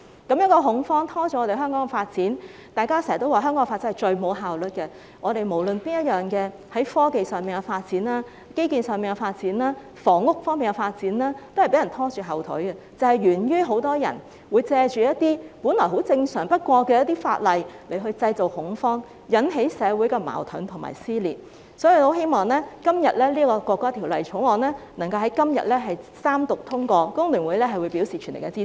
這種恐慌會拖累香港的發展，大家經常說香港的發展最缺乏效率，無論是在科技、基建或房屋方面的發展都被人拖後腿，就是源於很多人會藉着一些本來很正常的法例來製造恐慌，引起社會矛盾和撕裂，所以我很希望《條例草案》能夠在今天三讀通過，工聯會表示全力支持。